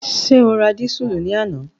Ṣé o ra dísùlù ní àná?